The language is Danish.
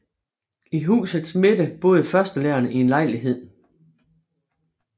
I husets midte boede førstelæreren i en lejlighed